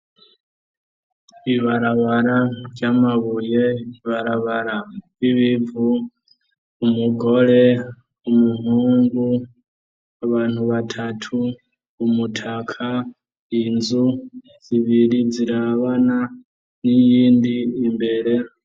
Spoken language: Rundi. Ibarabara ry'amabuye, ibarabara ry'ibivu, umugore, umuhungu abantu batatu, umutaka, inzu zibiri zirabana n'iyindi imbere.